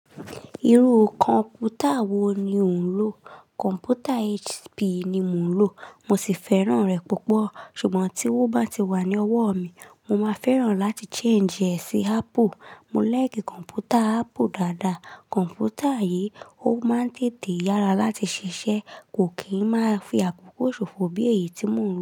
Irú kọ̀ǹpútà wo ni ò ń lò? Kọ̀ǹpútà HP ni mo ń lò. Mo sì fẹ́ràn rẹ̀ púpọ̀. Ṣùgbọ́n tí owó bá ti wà ní ọwọ́ mi, mo máa fẹ́ràn láti change rẹ̀ sí Apple. Mò like kọ̀ǹpútà Apple dáadáa. Kọ̀ǹpútà yìí, ó máa ń tètè yára láti ṣiṣẹ́, kò kí ń máa fi àkókò ṣòfò bí èyí tí mò ń lò.